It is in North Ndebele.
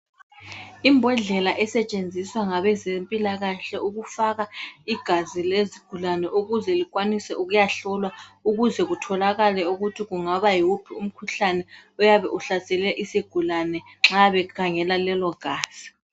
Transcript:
Imbodlela esetshenziswa ngabezempilakahle ukufaka igazi lezigulane, ukuze likwanise ukuyahlolwa, ukuze kutholakale ukuthi kungaba yiwuphi umkhuhlane oyabe uhlasele isigulane nxa bekhangela lelo gazi.